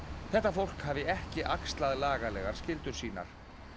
þetta fólk hafi ekki axlað lagalegar skyldur sínar